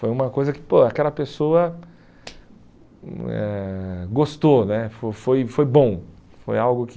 Foi uma coisa que pô aquela pessoa eh gostou né, foi foi foi bom, foi algo que...